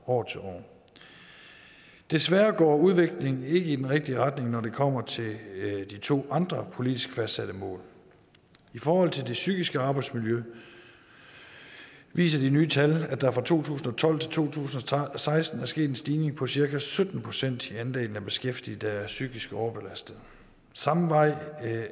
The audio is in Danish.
år til år desværre går udviklingen ikke i den rigtige retning når det kommer til de to andre politisk fastsatte mål i forhold til det psykiske arbejdsmiljø viser de nye tal at der fra to tusind og tolv til to tusind og seksten er sket en stigning på cirka sytten procent i andelen af beskæftigede der er psykisk overbelastede samme vej